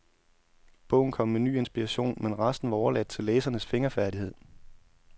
Bogen kom med ny inspiration, men resten var overladt til læserens fingerfærdighed.